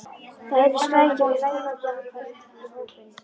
Það heyrðust skrækir og læti og Gerður hvarf í hópinn.